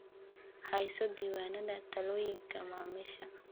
Hayso diiwaanada talooyinka macaamiisha.